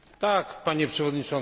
Panie Przewodniczący!